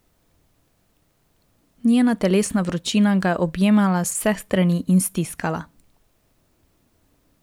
Njena tesna vročina ga je objemala z vseh strani in stiskala.